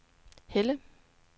Helle